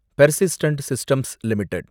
persistent systems limited